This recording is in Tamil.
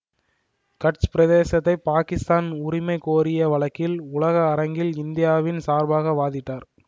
கட்ச் பிரதேசத்தைப் பாகிஸ்தான் உரிமை கோரிய வழக்கில் உலக அரங்கில் இந்தியாவின் சார்பாக வாதிட்டார்